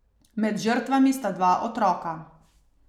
Med žrtvami sta dva otroka.